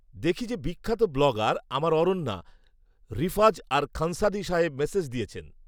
দেখি যে বিখ্যাত ব্লগার আমার অরণ্যা, ঋফাজ আর খানসাদী সাহেব মেসেজ দিয়েছেন